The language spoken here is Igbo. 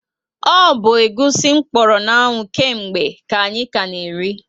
O bu egwusi kpọrọ na anwụ ke mgbe ka anyị ka na eri